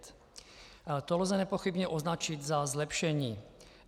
To lze nepochybně označit za zlepšení.